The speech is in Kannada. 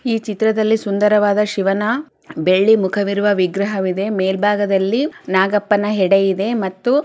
ಈ ಚಿತ್ರದಲ್ಲಿ ಸುಂದರವಾದ ಶಿವನ ಬೆಳ್ಳಿ ಮುಖವಿರುವ ವಿಗ್ರಹ ಇದೆ ಮೇಲ್ಭಾಗದಲ್ಲಿ ನಾಗಪ್ಪನ ಹೆಡೆ ಇದೆ ಮತ್ತು--